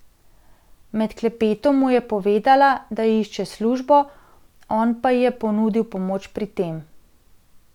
Med klepetom mu je povedala, da išče službo, on pa ji je ponudil pomoč pri tem.